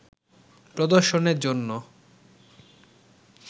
প্রদর্শনের জন্য